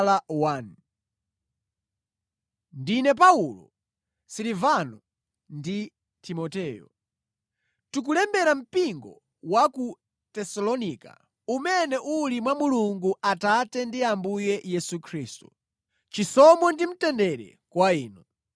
Paulo, Silivano ndi Timoteyo. Tikulembera mpingo wa ku Tesalonika, umene uli mwa Mulungu Atate ndi Ambuye Yesu Khristu. Chisomo ndi mtendere kwa inu.